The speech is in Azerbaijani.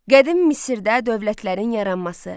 Qədim Misirdə dövlətlərin yaranması.